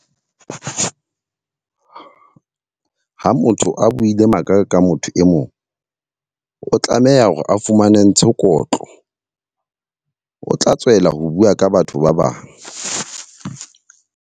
Ha motho a buile maka ka motho e mong, o tlameha hore a fumane ntshe kotlo. O tla tswela ho bua ka batho ba bang.